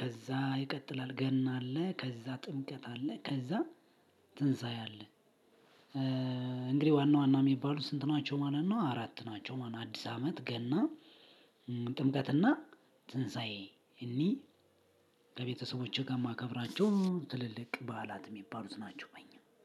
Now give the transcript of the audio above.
ከዛ ይቀጥላል ገና አለ። ከዛ ጥምቀት አለ። ከዛ ትንሳኤ አለ። እንግዲህ ዋና ዋና የሚባሉ ስንት ናቸው? ማለት ነው አራት ናቸው። ማለት አዲስ አመት ገና ጥምቀት እና ትንሳኤ። እኒህ ከቤተሰቦቼ ጋር የማከብራቸው ትልልቅ በዓላት የሚባሉት ናቸው። በኛ